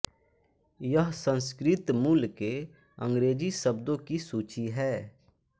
यह संस्कृत मूल के अंग्रेजी शब्दों की सूची है